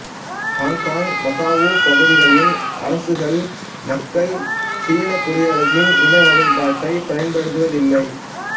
Hong Kong Macau பகுதிகளின் அரசுகள் மக்கள் சீனக் குடியரசின் இன வகைப்பாட்டைப் பயன்படுத்துவது இல்லை